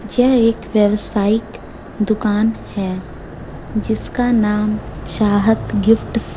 यह एक वेवसाइक दुकान है जिसका नाम चाहत गिफ्ट स--